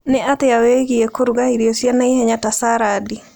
Nĩ atia wĩgie kũruga irio cia naihenya ta sarandi?